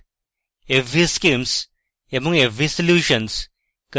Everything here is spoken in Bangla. controldict fvschemes এবং fvsolutions